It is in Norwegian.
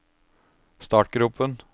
startgropen